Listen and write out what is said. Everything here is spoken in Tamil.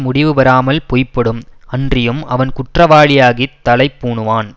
முடிவுபெறாமல் பொய்படும் அன்றியும் அவன் குற்றவாளியாகித் தளை பூணுவான்